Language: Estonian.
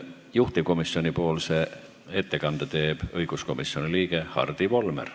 Juhtivkomisjoni ettekande teeb õiguskomisjoni liige Hardi Volmer.